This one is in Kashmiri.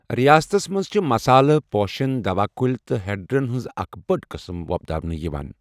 ریاستس منٛز چھِ مسالہٕ، پوشن، دوا کُلۍ تہٕ ہڑرَن ہنٛز اکھ بٔڑ قٕسم وۄپداونہٕ یِوان۔